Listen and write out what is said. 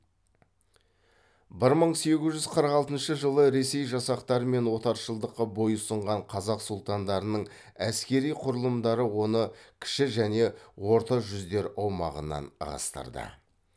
бір мың сегіз жүз қырық алтыншы жылы ресей жасақтары мен отаршылдыққа бойұсынған қазақ сұлтандарының әскери құрылымдары оны кіші және орта жүздер аумағынан ығыстырды